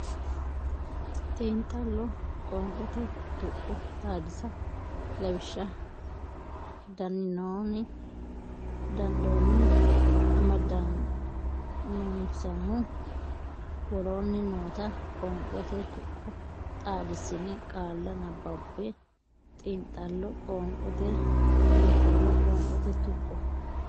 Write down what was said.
Xiinxallo Qoonqote Tuqqo Xaadisa Lawishsha dan non amadannonsahu Woroonni noota qoonqote tuqqo xaadissine qaalla nabbabbe Xiinxallo Qoonqote Xiinxallo Qoonqote Tuqqo.